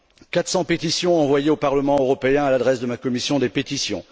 Quatre cents pétitions envoyées au Parlement européen à l'adresse de la commission des pétitions.